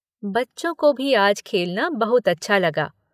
बच्चों को भी आज खेलना बहुत अच्छा लगा।